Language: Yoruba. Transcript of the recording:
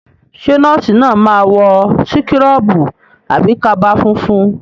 Ṣé nọ́ọ̀sì náà máa wọ síkọ́rọ̀bù àbí kaba funfun?